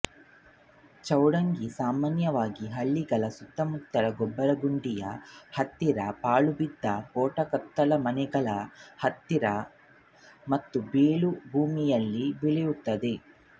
ಚೌಡಂಗಿ ಸಾಮಾನ್ಯವಾಗಿ ಹಳ್ಳಿಗಳ ಸುತ್ತಮುತ್ತಗೊಬ್ಬರಗುಂಡಿಯ ಹತ್ತಿರಪಾಳುಬಿದ್ದ ಕೋಟೆಕೊತ್ತಲಮನೆಗಳ ಹತ್ತಿರ ಮತ್ತು ಬೀಳು ಭೂಮಿಯಲ್ಲಿ ಬೆಳೆಯುತ್ತದೆ